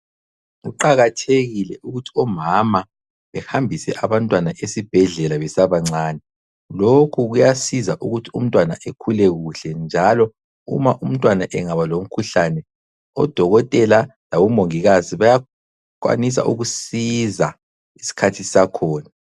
Kuqathekile ukuthi omama behambise abantwana esibhedlela besabancane, lokhu kuyasiza ukuthi umntwana ekhule kuhle njalo uma umntwana engaba lomkhuhlane odokotela labo mongikazi bayakwanisa ukusiza isikhathi sisakhona.